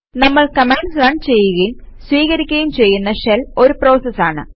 നമ്മൾ commands run ചെയ്യുകയും സ്വീകരിക്കുകയും ചെയ്യുന്ന ഷെൽ ഒരു പ്രോസസ് ആണ്